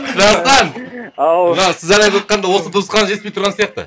дастан ау мынау сіз ән айтыватқанда осы дыбыс ғана жетпей тұрған сияқты